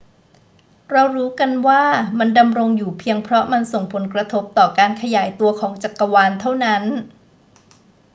เรารู้กันว่ามันดำรงอยู่เพียงเพราะมันส่งผลกระทบต่อการขยายตัวของจักรวาลเท่านั้น